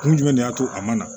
Kun jumɛn de y'a to a ma na